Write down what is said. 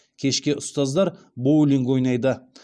кешке ұстаздар боулинг ойнайды